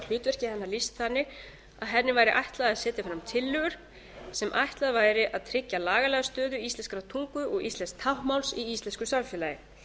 hlutverki hennar lýst þannig að henni lýst þannig að henni væri ætlað að setja fram tillögur sem ætlað væri að tryggja lagalega stöðu íslenskrar tungu og íslensks táknmáls í íslensku samfélagi